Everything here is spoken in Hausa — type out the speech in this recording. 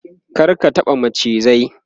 kar ka taɓa macizai!